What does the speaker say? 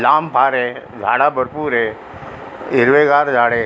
लांब फारय झाड भरपूर य हिरवेगार झाडे --